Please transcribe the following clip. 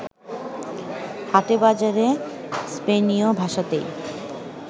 হাটে বাজারে স্পেনীয় ভাষাতেই